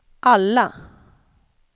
alla